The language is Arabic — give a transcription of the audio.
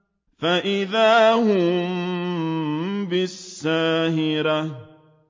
فَإِذَا هُم بِالسَّاهِرَةِ